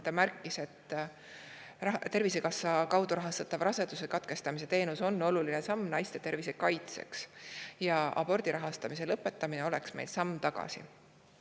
Ta märkis, et Tervisekassa kaudu rahastatav raseduse katkestamise teenus on oluline samm naiste tervise kaitseks, abordi rahastamise lõpetamine oleks samm tagasi.